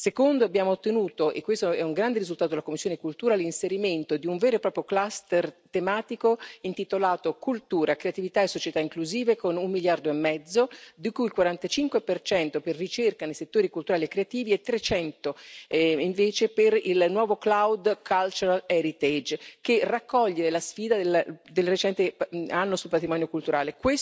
Secondo, abbiamo ottenuto, e questo è un grande risultato della commissione cultura, l'inserimento di un vero e proprio cluster tematico intitolato Cultura, creatività e società inclusive con un miliardo e mezzo, di cui il 45 per ricerca nei settori culturali e creativi e 300 invece per il nuovo Cloud Cultural Heritage, che raccoglie la sfida del recente anno sul patrimonio culturale.